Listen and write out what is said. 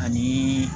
Ani